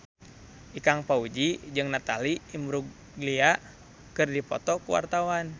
Ikang Fawzi jeung Natalie Imbruglia keur dipoto ku wartawan